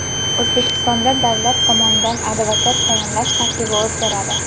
O‘zbekistonda davlat tomonidan advokat tayinlash tartibi o‘zgaradi.